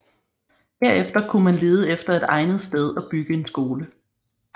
Herefter kunne man lede efter et egnet sted at bygge en skole